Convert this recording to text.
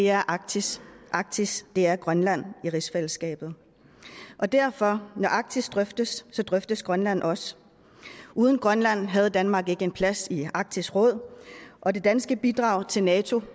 er arktis og arktis er grønland i rigsfællesskabet derfor når arktis drøftes drøftes grønland også uden grønland havde danmark ikke en plads i arktis råd og det danske bidrag til nato